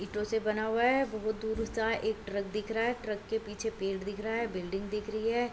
ईटो से बना हुआ हैं बहुत दूर सा एक ट्रक दिख रहा हैं ट्रक के पीछे पेड़ दिख रहा हैं बिल्डिंग दिख रही हैं।